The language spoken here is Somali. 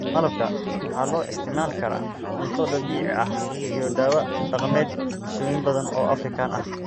Malabka waxaa loo isticmaali karaa cunto dabiici ah iyo dawo dhaqameed bulshooyin badan oo Afrikaan ah.